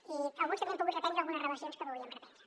i alguns també hem pogut reprendre algunes relacions que volíem reprendre